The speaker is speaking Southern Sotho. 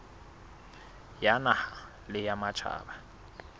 ya naha le ya matjhaba